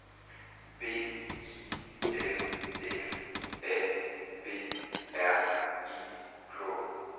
B I L F A B R I K